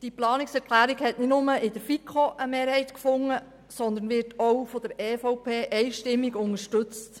Die Planungserklärung hat nicht nur in der FiKo eine Mehrheit gefunden, sondern sie wird auch von der EVP einstimmig unterstützt.